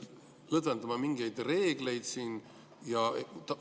Miks me lõdvendame mingeid reegleid?